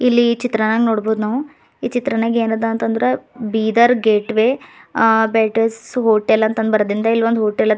ಇಲ್ಲಿ ಈ ಚಿತ್ರಾನಾಗ ನೋಡ್ಬೋದ್ ನಾವು ಈ ಚಿತ್ರಣಾಗ ಏನಾದ ಅಂತ ಅಂದ್ರ ಬೀದರ್ ಗೇಟ್ವೇ ಆ ಬೇಟಸ್ ಹೋಟೆಲ್ ಅಂತ ಬರದಿಂದ ಇಲ್ಲಿ ಒಂದ ಹೋಟೆಲ್ ಅದ.